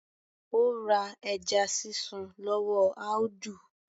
Ó ra ẹja sísun lọ́wọ́ Audu